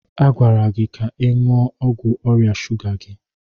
A gwara gị ka ị ṅụọ ọgwụ ọrịa shuga gị.